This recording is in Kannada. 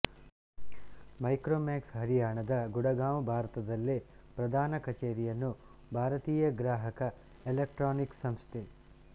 ಮೈಕ್ರೋಮ್ಯಾಕ್ಸ್ ಹರಿಯಾಣದ ಗುಡಗಾಂವ್ ಭಾರತದಲ್ಲೇ ಪ್ರಧಾನ ಕಚೇರಿಯನ್ನು ಭಾರತೀಯ ಗ್ರಾಹಕ ಎಲೆಕ್ಟ್ರಾನಿಕ್ಸ್ ಸಂಸ್ಥೆ